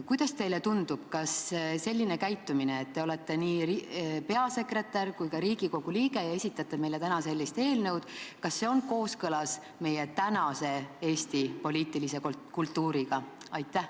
Kuidas teile tundub, kas selline käitumine, et olete nii peasekretär kui ka Riigikogu liige ja esitlete meile sellist eelnõu, on kooskõlas meie tänase Eesti poliitilise kultuuriga?